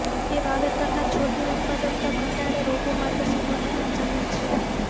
તે વાવેતરના છોડની ઉત્પાદકતા ઘટાડે રોગો માટે સંવર્ધન જમીન છે